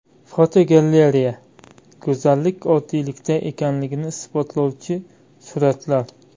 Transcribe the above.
Fotogalereya: Go‘zallik oddiylikda ekanligini isbotlovchi suratlar.